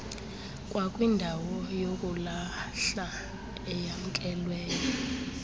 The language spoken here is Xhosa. kwakwindawo yokulahla eyamkelweyo